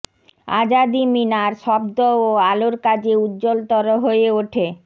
আজাদি মিনার শব্দ ও আলোর কাজে উজ্জ্বলতর হয়ে ওঠে